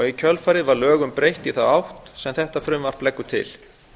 í kjölfarið var lögum breytt í þá átt sem þetta frumvarp leggur til